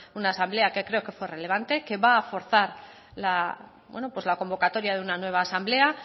una asamblea que creo que fue relevante que va a forzar la convocatoria de una nueva asamblea